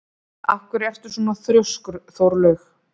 Af hverju ertu svona þrjóskur, Þórlaug?